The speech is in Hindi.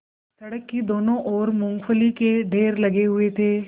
सड़क की दोनों ओर मूँगफली के ढेर लगे हुए थे